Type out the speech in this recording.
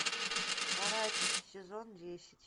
каратель сезон десять